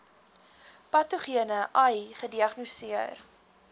patogene ai gediagnoseer